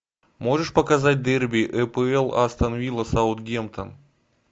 можешь показать дерби апл астон вилла саутгемптон